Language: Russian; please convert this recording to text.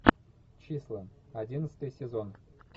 числа одиннадцатый сезон